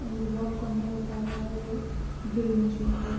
वह वर्क करना बता रहा है वो ड्रिल मशीन पे।